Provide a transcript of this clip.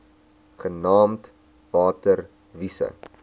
genaamd water wise